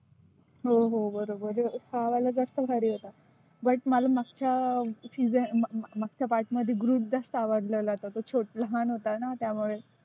हो हो बरोबर आहे. हा वाला जास्त भारी होता. but मला मागच्या season माग मागच्या part मध्ये groot जास्त आवडलेला तो छो लहान होताना त्यामुळे.